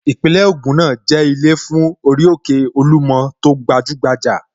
Ìpínlẹ̀ Ògùn náà jẹ́ ilé fún orí òkè Olúmọ tó gbajúgbajà